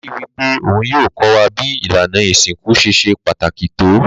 Daddy wípé oun yio ko wa bi ìlànà ìsinkú ṣe se pàtàkì to